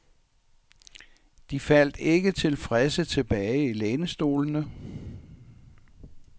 De faldt ikke tilfredse tilbage i lænestolene.